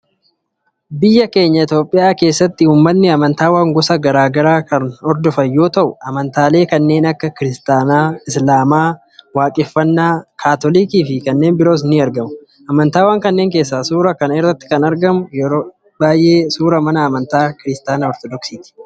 Biyya keenya Itoophiyaa keessatti uummatni amantaawwan gosa gara garaa kan hordofan yoo ta’u amantaalee kanneen akka Kiristaanaa, Islamaa, Waaqeffataa, Kaatoolikii fi kanneen biroon ni argamu. Amantaawwan kanneen keessaa suuraa kana irratti kan argamu yeroo baay'ee suuraa mana amantaa kiristiyaanaa Ortodooksiiti.